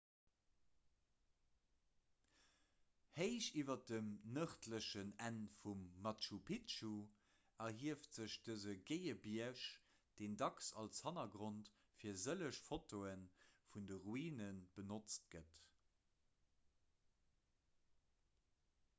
héich iwwer dem nërdlechen enn vum machu picchu erhieft sech dëse géie bierg deen dacks als hannergrond fir sëlleg fotoe vun de ruine benotzt gëtt